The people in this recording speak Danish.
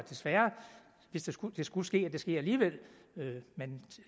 desværre skulle skulle ske ske alligevel men